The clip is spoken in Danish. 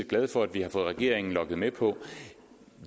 glade for at vi har fået regeringen lokket med på